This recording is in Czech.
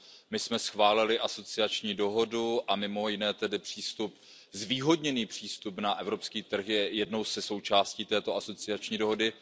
My jsme schválili asociační dohodu a mimo jiné i zvýhodněný přístup na evropský trh, což je jedna ze součástí této asociační dohody.